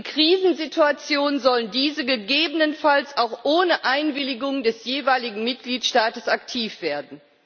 In Krisensituation sollen diese gegebenenfalls auch ohne Einwilligung des jeweiligen Mitgliedstaates aktiv werden.